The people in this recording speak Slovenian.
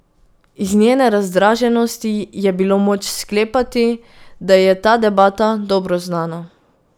Iz njene razdraženosti je bilo moč sklepati, da ji je ta debata dobro znana.